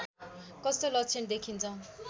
कस्तो लक्षण देखिन्छ